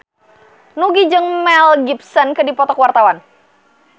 Nugie jeung Mel Gibson keur dipoto ku wartawan